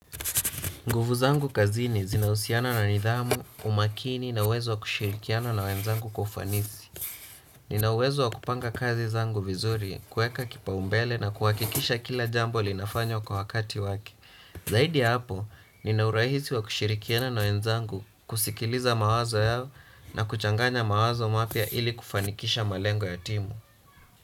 Nguvu zangu kazini zinausiana na nidhamu, umakini na wezo wa kushirikiana na wenzangu ufanisi. Nina uwezo wa kupanga kazi zangu vizuri, kueka kipao mbele na kuwakikisha kila jambo linafanywa kwa wakati wake. Zaidi hapo, ninaurahisi wa kushirikiana na wenzangu kusikiliza mawazo yao na kuchanganya mawazo mapya ili kufanikisha malengo ya timu.